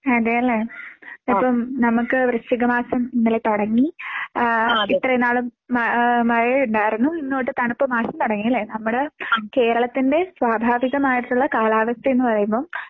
അതേലെ. ഇപ്പം നമുക്ക് വൃശ്ചിക മാസം ഇന്നലെ തുടങ്ങി ഏഹ് ഇത്രയും നാളും മ ആഹ് മഴ ഉണ്ടാർന്നു ഇന്ന് തൊട്ട് തണുപ്പ് മാസം തുടങ്ങി അല്ലേ. നമ്മുടെ കേരളത്തിന്റെ സ്വാഭാവികമായിട്ടുള്ള കാലാവസ്ഥ എന്ന് പറയുമ്പം